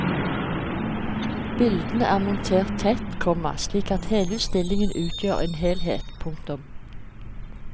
Bildene er montert tett, komma slik at hele utstillingen utgjør en helhet. punktum